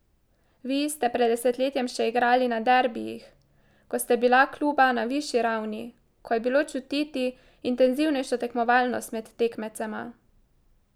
Vi ste pred desetletjem še igrali na derbijih, ko sta bila kluba na višji ravni, ko je bilo čutiti intenzivnejšo tekmovalnost med tekmecema ...